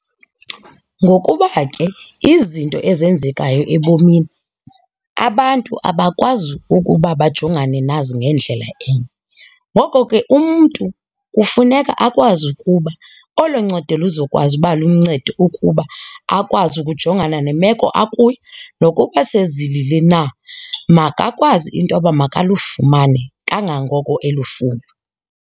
Ngokuba ke izinto ezenzekayo ebomini abantu abakwazi ukuba bajongane nazo ngendlela enye. Ngoko ke umntu kufuneka akwazi ukuba olo ncedo luzokwazi uba luncedo ukuba akwazi ukujongana nemeko akuyo. Nokuba sezilile na, makakwazi intoba makalufumane kangangoko elufuna.